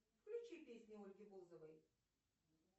включи песню ольги бузовой